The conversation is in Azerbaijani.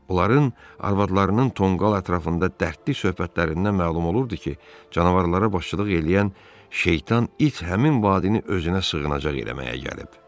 Onların arvadlarının tonqal ətrafında dərdli söhbətlərindən məlum olurdu ki, canavarlara başçılıq eləyən şeytan it həmin vadini özünə sığınacaq eləməyə gəlib.